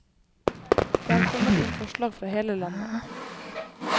Det er kommet inn forslag fra hele landet.